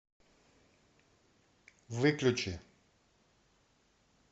выключи